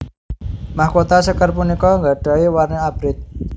Mahkota sékar punika gadahi warni Abrit